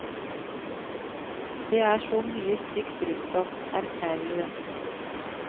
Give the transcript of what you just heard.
Det er så mye stygt rundt oss, erklærer hun.